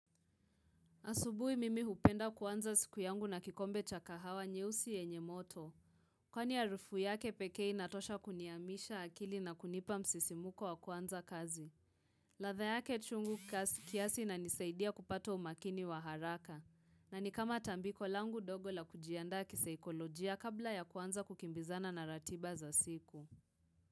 Asubuhi mimi hupenda kuanza siku yangu na kikombe cha kahawa nyeusi yenye moto. Kwani harufu yake pekee inatosha kuniamsha akili na kunipa msisimko wa kuanza kazi. Ladha yake chungu kiasi inanisaidia kupata umakini wa haraka. Na ni kama tambiko langu dogo la kujiandaa kisaikolojia kabla ya kuanza kukimbizana na ratiba za siku.